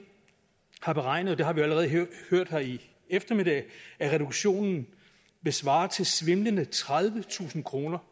har beregnet det har vi jo allerede hørt her i eftermiddag at reduktionen vil svare til svimlende tredivetusind kroner